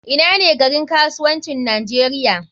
Ina ne garin kasuwancin nigeria?